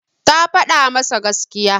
Ta faɗa masa gaskiya.